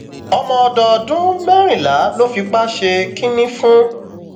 ọmọdọdún mẹrìnlá ló fipá ṣe kínní fún